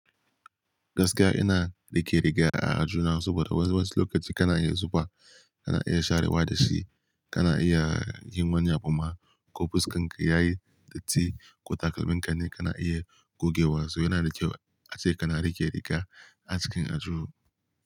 Gaskiya ina rike-riga a aljihuna saboda wasu lokaci kana iya zufa, kana iya sharewa da shi, kana iya yin wani abu ma ko fuskar ka yayi datti ko takalmin kai ne kana iya gogewa su yana da kyau ace kana rike-riga a cikin ajujuwa.